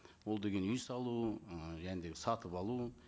ол деген үй салу ы және де сатып алу